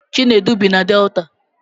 Chinedu bi na Delta